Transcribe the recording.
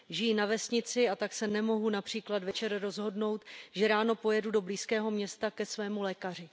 Žiji na vesnici a tak se nemohu například večer rozhodnout, že ráno pojedu do blízkého města ke svému lékaři.